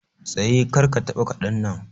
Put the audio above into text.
Tsaye! Kar ka taba Kadan nan